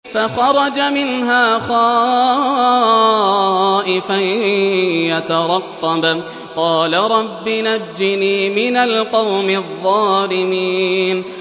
فَخَرَجَ مِنْهَا خَائِفًا يَتَرَقَّبُ ۖ قَالَ رَبِّ نَجِّنِي مِنَ الْقَوْمِ الظَّالِمِينَ